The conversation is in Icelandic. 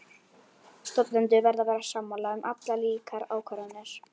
Stofnendur verða að vera sammála um allar líkar ákvarðanir.